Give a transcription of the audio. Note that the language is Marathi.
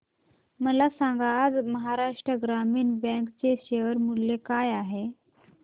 मला सांगा आज महाराष्ट्र ग्रामीण बँक चे शेअर मूल्य काय आहे